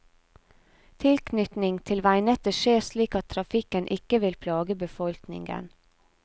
Tilknytning til veinettet skjer slik at trafikken ikke vil plage befolkningen.